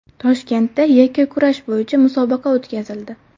Toshkentda yakkakurash bo‘yicha musobaqa o‘tkazildi.